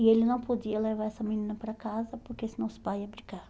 E ele não podia levar essa menina para casa, porque senão os pais iam brigar.